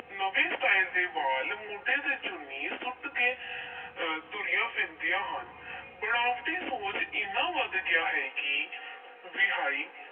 ਨਵੇਂ style ਦੇ ਵਾਲ, ਮੋਢੇ ਤੇ ਚੁੰਨੀ ਸੁੱਟ ਕੇ ਅਹ ਤੁਰੀਆਂ ਫਿਰਦੀਆਂ ਹਨ ਬਣਾਵਟੀ ਸੋਹਜ ਇੰਨਾ ਵੱਧ ਗਿਆ ਹੈ ਕਿ ਵਿਆਹੀ